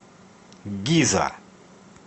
гиза